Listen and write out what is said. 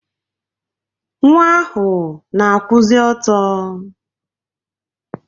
Nwa ahụ na-akwụzị ọtọ.